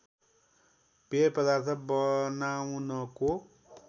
पेय पदार्थ बनाउनको